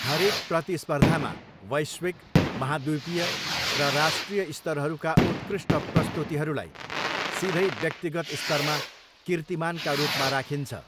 हरेक प्रतिस्पर्धामा वैश्विक, महाद्वीपीय र राष्ट्रिय स्तरहरूका उत्कृष्ट प्रस्तुतीहरूलाई, सिधै व्यक्तिगत स्तरमा किर्तीमानका रूपमा राखिन्छ।